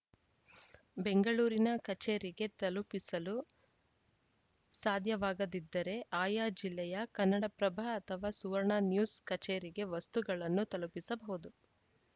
ಬೆಂಗಳೂರಿನ ಕಚೇರಿಗೆ ತಲುಪಿಸಲು ಸಾಧ್ಯವಾಗದಿದ್ದರೆ ಆಯಾ ಜಿಲ್ಲೆಯ ಕನ್ನಡಪ್ರಭ ಅಥವಾ ಸುವರ್ಣ ನ್ಯೂಸ್‌ ಕಚೇರಿಗೆ ವಸ್ತುಗಳನ್ನು ತಲುಪಿಸಬಹುದು